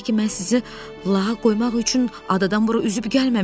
Bir də ki, mən sizi lağa qoymaq üçün adadan bura üzüb gəlməmişəm.